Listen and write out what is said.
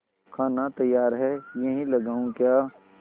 खाना तैयार है यहीं लगाऊँ क्या